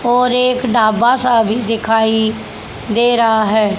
और एक ढाबा सा भी दिखाई दे रहा है।